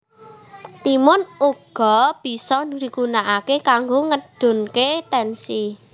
Timun uga bisa digunakake kanggo ngedunke tensi